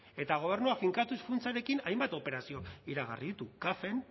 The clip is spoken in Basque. eta gobernuak finkatuz funtsarekin hainbat operazio iragarri ditu cafen